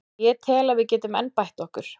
Ég tel að við getum enn bætt okkur.